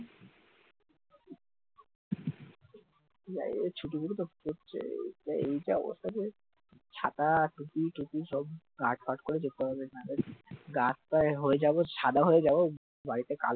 না এই ছুটিগুলোতে পড়ছে এ এইটা ওর সাথে ছাতা, টুপি টুপি সব পাট পাট করে দেখতে হবে না হলে রাস্তায় হয়ে যাব সাদা হয়ে যাবে বাড়িতে কালো